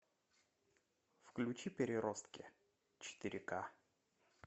включи переростки четыре ка